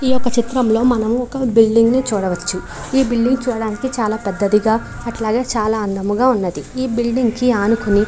ఈ ఒక చిత్రంలో మనము ఒక బిల్డింగ్ ని చూడవచ్చు. ఈ బిల్డింగ్ చూడటానికి చాల పెద్దదిగా అట్లాగే చాల అందంగా ఉన్నది.ఈ బిల్డింగ్ కి అనుకోని--